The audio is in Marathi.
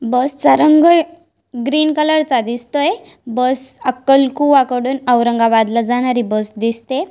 बस चा रंग ग्रीन कलर चा दिसतोय. बस अक्कलकुआ कडुन औरंगाबादला जाणारी बस दिसते.